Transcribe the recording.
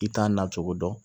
I t'a na cogo dɔn